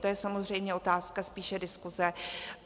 To je samozřejmě otázka spíše diskuse.